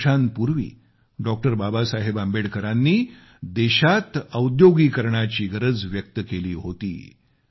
अनेक वर्षांपूर्वी डॉ बाबासाहेब आंबेडकरांनी देशात औद्योगीकरणाची गरज व्यक्त केली होती